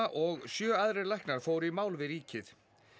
og sjö aðrir læknar fóru í mál við ríkið